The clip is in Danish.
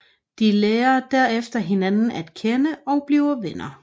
De lærer derefter hinanden at kende og bliver venner